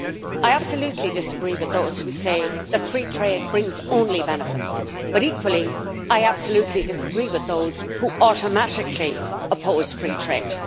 I absolutely disagree with those who say that free trade brings only benefits but, equally, I absolutely disagree with those who automatically oppose free trade.